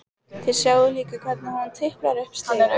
Þið sjáið líka hvernig hún tiplar upp stiga.